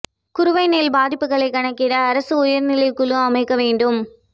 குறுவை நெல் பாதிப்புகளை கணக்கிட அரசு உயா்நிலை குழு அமைக்க வேண்டும்